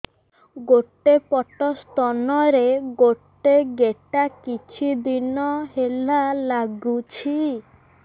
ଗୋଟେ ପଟ ସ୍ତନ ରେ ଗୋଟେ ଗେଟା କିଛି ଦିନ ହେଲା ଲାଗୁଛି